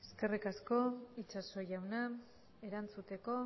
eskerrik asko itxaso jauna erantzuteko